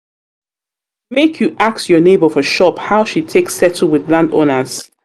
ask your nebor for shop how she take settle wit landowners.